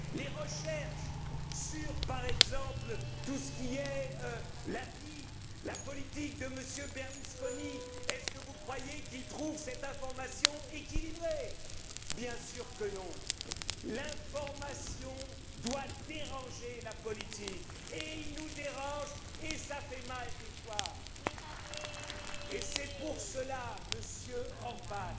Les recherches, par exemple, sur la vie, la politique de M. Berlusconi, est ce que vous croyez qu'il trouve cette information équilibrée? Bien sûr que non! L'information doit déranger la politique. Et elle nous dérange et cela fait mal des fois. Et c'est pour cela, Monsieur